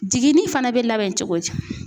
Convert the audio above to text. Jiginni fana bɛ labɛn cogo di?